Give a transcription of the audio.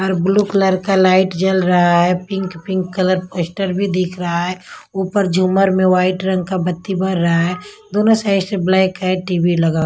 और blue colour का light जल रहा है पिंक पिंक कलर पोस्टर भी दिख रहा है ऊपर झूमर में वाइट रंग का बत्ती भर रहा है दोनों साइड से ब्लैक है टी_वी लगा --